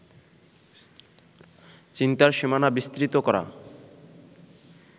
চিন্তার সীমানা বিস্তৃত করা